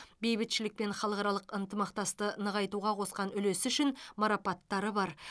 бейбітшілік пен халықаралық ынтымақтасты нығайтуға қосқан үлесі үшін марапаттары бар